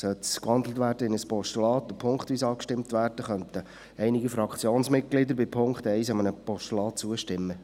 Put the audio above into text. Sollte sie in ein Postulat gewandelt und punktweise abgestimmt werden, könnten einige Fraktionsmitglieder bei Punkt 1 einem Postulat zustimmen.